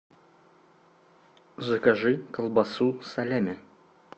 закажи колбасу салями